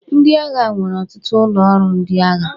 Ndị agha nwere ọtụtụ ụlọ ọrụ ndị agha.